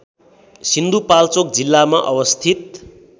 सिन्धुपाल्चोक जिल्लामा अवस्थित